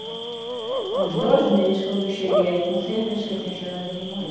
Com uns dois meses, quando eu cheguei aí, com seis meses que eu tinha chegado, ele morreu.